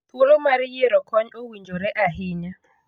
Thuolo mar yiero kony owinjore ahinya